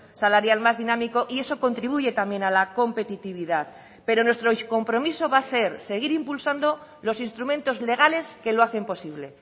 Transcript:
salarial más dinámico y eso contribuye también a la competitividad pero nuestro compromiso va a ser seguir impulsando los instrumentos legales que lo hacen posible